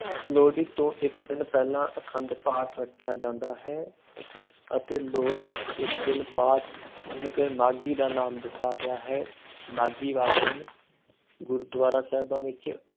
ਲੋਹੜੀ ਤੋਂ ਇੱਕ ਦਿਨ ਪਹਿਲਾਂ ਆਖੰਡ ਪਾਠ ਰੱਖਿਆ ਜਾਂਦਾ ਹੈ ਅਤੇ ਲੋਹੜੀ ਇੱਕ ਦਿਨ ਬਾਅਦ ਚ, ਜਿਹਨੂੰ ਕਿ ਮਾਘੀ ਦਾ ਨਾਮ ਦਿੱਤਾ ਗਿਆ ਹੈ ਮਾਘੀ ਵਾਲੇ ਦਿਨ ਗੁਰਦੁਆਰਾ ਸਾਹਿਬਾਂ ਵਿੱਚ